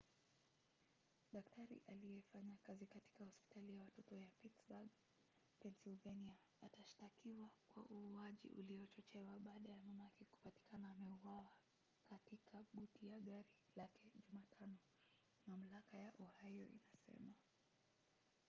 daktari aliyefanya kazi katika hospitali ya watoto ya pittsburgh pennsylvania atashtakiwa kwa uuaji uliochochewa baada ya mamake kupatikana ameuawa katika buti ya gari lake jumatano mamlaka ya ohio inasema